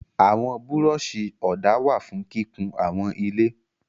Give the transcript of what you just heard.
Àwọn búrọ́ṣì ọ̀dà wà fún kíkun àwọn ilé.